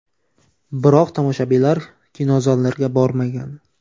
Biroq tomoshabinlar kinozallarga bormagan.